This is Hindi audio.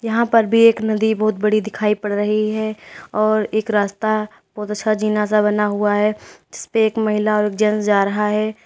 यहां पर भी एक नदी बहुत बड़ी दिखाई पड़ रही है और एक रास्ता बहुत अच्छा जिना सा बना हुआ है जिसपे एक महिला और एक जेंट्स जा रहा है।